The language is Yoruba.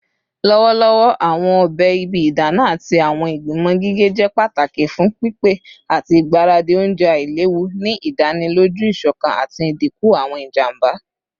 Lọwọlọwọ, awọn ọbẹ ibi idana ati awọn igbimọ gige jẹ pataki fun pipe ati igbaradi ounjẹ ailewu, ni idaniloju isokan ati idinku awọn ijamba.